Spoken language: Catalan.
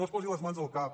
no es posi les mans al cap